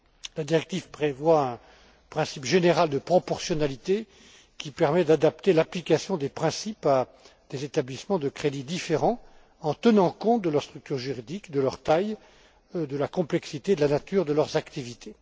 La directive prévoit un principe général de proportionnalité, qui permet d'adapter l'application des principes à des établissements de crédit différents, en tenant compte de leur structure juridique, de leur taille, de la complexité et de la nature de leurs activités.